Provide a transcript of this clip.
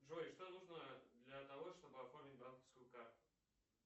джой что нужно для того чтобы оформить банковскую карту